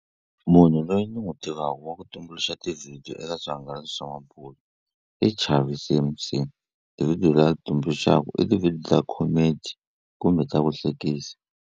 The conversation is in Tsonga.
Munhu loyi ni n'wi tivaka wa ku tumbuluxa ti-video eka swihangalasi swa mabulo i Chavi C_M_C ti-video la tumbuluxaka i ti-video ta comedy kumbe ka vuhlekisi.